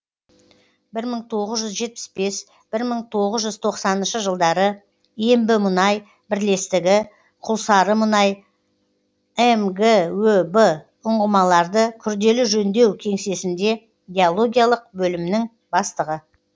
бір мың тоғыз жүз жетпіс бес бір мың тоғыз жүз тоқсаныншы жылдары ембімұнай бірлестігі құлсарымұнай мгөб ұңғымаларды күрделі жөндеу кеңсесінде геологиялық бөлімнің бастығы